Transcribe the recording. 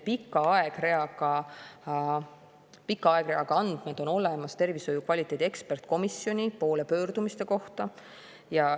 Pika aegreaga andmed on olemas tervishoiu kvaliteedi ekspertkomisjoni poole pöördumiste kohta.